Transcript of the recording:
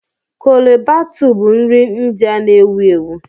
Chole Bhatuu bụ nri India na-ewu ewu.